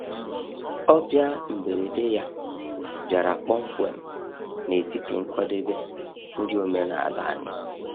Ọbịa mberede ya bịara kpọmkwem n’etiti nkwadebe nri omenala anyị.